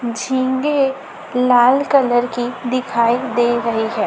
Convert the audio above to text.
झींगे लाल कलर की दिखाई दे रही है।